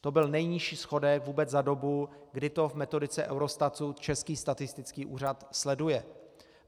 To byl nejnižší schodek vůbec za dobu, kdy to v metodice Eurostatu Český statistický úřad sleduje.